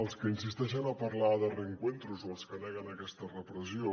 els que insisteixen a parlar de reencuentro són els que neguen aquesta repressió